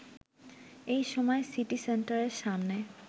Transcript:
এই সময় সিটি সেন্টারের সামনে